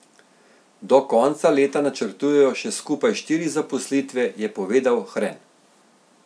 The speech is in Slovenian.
Do konca leta načrtujejo še skupaj štiri zaposlitve, je povedal Hren.